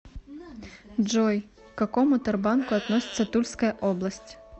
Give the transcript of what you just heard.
джой к какому тербанку относится тульская область